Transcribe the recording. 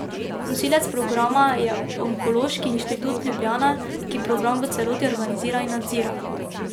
Nosilec programa je Onkološki inštitut Ljubljana, ki program v celoti organizira in nadzira.